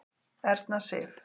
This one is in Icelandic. Erna Sif.